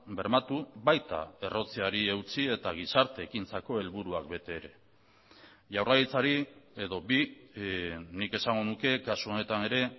bermatu baita errotzeari eutsi eta gizarte ekintzako helburuak bete ere jaurlaritzari edo bi nik esango nuke kasu honetan ere